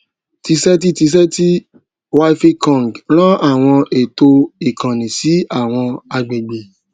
tizeti tizeti wifi conng ran àwọn ètò ìkànnì sí àwọn agbègbè